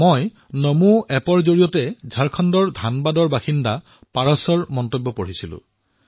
মই নমো এপত ঝাৰখণ্ডৰ ধানবাদ নিৱাসী পাৰসৰ মন্তব্য পঢ়িছো